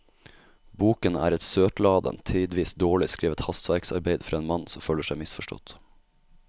Boken er et søtladent, tidvis dårlig skrevet hastverksarbeid fra en mann som føler seg misforstått.